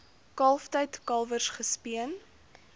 kalftyd kalwers gespeen